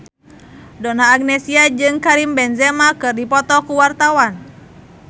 Donna Agnesia jeung Karim Benzema keur dipoto ku wartawan